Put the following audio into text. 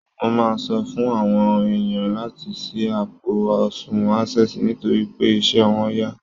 Mo máa sọ fún àwọn èèyàn láti ṣí àpò àsùnwọ̀n Access nitorí pé iṣẹ́ wọn yá